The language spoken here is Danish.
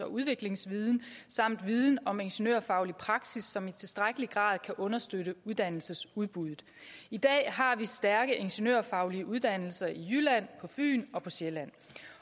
og udviklingsviden samt viden om ingeniørfaglig praksis som i tilstrækkelig grad kan understøtte uddannelsesudbuddet i dag har vi stærke ingeniørfaglige uddannelser i jylland på fyn og på sjælland